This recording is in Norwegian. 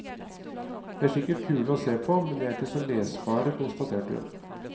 De er sikkert kule å se på, men de er ikke så lesbare, konstaterer hun.